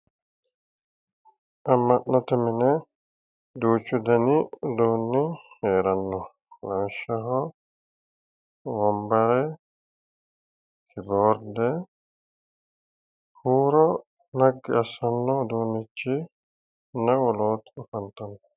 amma'note mine duuchu dani uduunni heeranno lawishshaho wonbare kiboorde huuro naggi assanno uduunnichanna wolootuno afantanno.